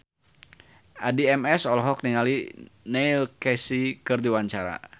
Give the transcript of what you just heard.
Addie MS olohok ningali Neil Casey keur diwawancara